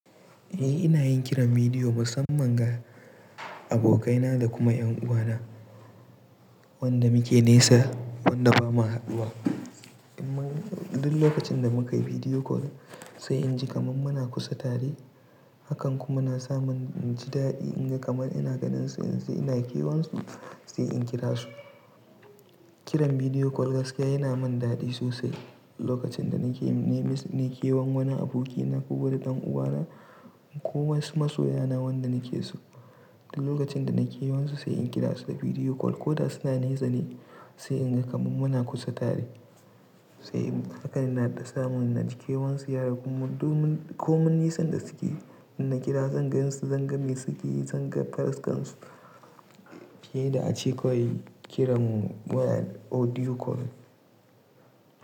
Eh ina yin kiran bidiyo musamman ga abokaina da kuma 'yan uwana wanda muke nesa wanda ba mu haɗuwa. Mun duk lokacin da muka yi bidiyo call sai inji kamar muna kusa tare. Hakan kuma na sa min jidaɗi in ga kamar ina ganin su in sai ina kewan su sai in kira su. Kiran bidiyo call gaskiya yana min daɗi sosai. Lokacin da nake nemen su nai kewan wani abokina ko wani ɗan uwana ko wasu masoyana wanda nake so. Duk lokacin da na kewan su sai in kira su da bidiyo call ko da suna nesa ne sai in ga kamar muna kusa tare. Sai hakan ina dan samun naji kewan su ya ragu domin komin nisan da suke. In na kira zan gan su zan gani suke zan ga fuskarsu. Fiye da a ce kawai kiran waya audio call.